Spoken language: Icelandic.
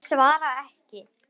Ég svara ekki.